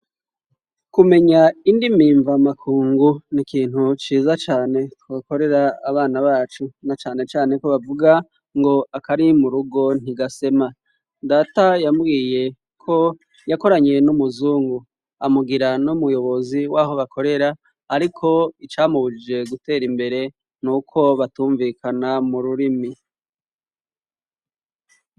Kumenya indimimva makungu ni ikintu ciza cane tubakorera abana bacu na canecaneko bavuga ngo akari mu rugo ntigasema data yambwiye ko yakoranye n'umuzungu amugira no muyobozi waho bakorera, ariko icamubujije gutera imbere n uko batumvikana mu rurimi.